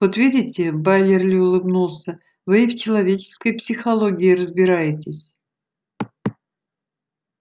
вот видите байерли улыбнулся вы и в человеческой психологии разбираетесь